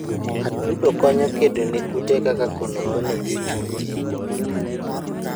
atudo konyo kdone kute kaka konokono gi ochunge